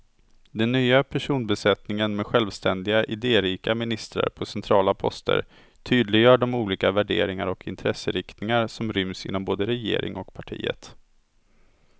Den nya personbesättningen med självständiga, idérika ministrar på centrala poster tydliggör de olika värderingar och intresseinriktningar som ryms inom både regeringen och partiet.